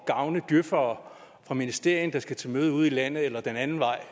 gavne djøfere fra ministerierne der skal til møde ude i landet eller den anden vej